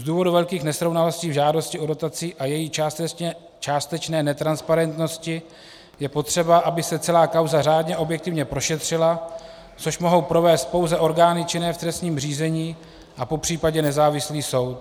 Z důvodu velkých nesrovnalostí v žádosti o dotaci a její částečné netransparentnosti je potřeba, aby se celá kauza řádně a objektivně prošetřila, což mohou provést pouze orgány činné v trestním řízení a popřípadě nezávislý soud.